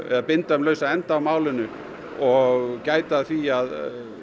binda um lausa enda á málinu og gæta að því að